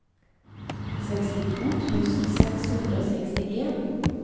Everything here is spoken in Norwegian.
sekstito tusen seks hundre og sekstien